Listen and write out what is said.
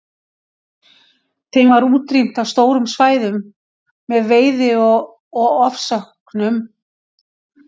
Þeim var útrýmt af stórum svæðum með veiði og ofsóknum.